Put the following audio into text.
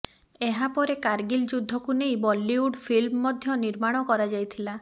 ଏହା ପରେ କାର୍ଗିଲ ଯୁଦ୍ଧକୁ ନେଇ ବଲିଉଡ୍ ଫିଲ୍ମ ମଧ୍ୟ ନିର୍ମାଣ କରାଯାଇଥିଲା